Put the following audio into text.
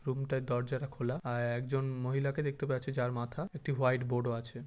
রুমটাই দরজাটা খোলা। আর একজন মহিলাকে দেখতে পাচ্ছি যার মাথা একটি হোয়াইট বোর্ডও আছে।